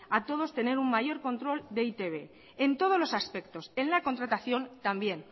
a todos tener un mayor control de e i te be en todos los aspectos en la contratación también